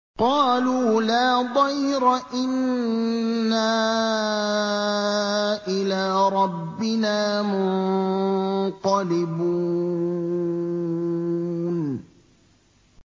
قَالُوا لَا ضَيْرَ ۖ إِنَّا إِلَىٰ رَبِّنَا مُنقَلِبُونَ